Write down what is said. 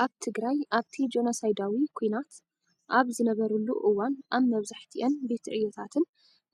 ኣብ ትግራይ ኣብቲ ጆኖሰይዳዊ ኵናት ኣብ ዝነበረሉ እዋን ኣብ መብዛሕቲኣን ቤት ዕዮታትን